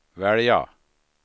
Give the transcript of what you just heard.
välja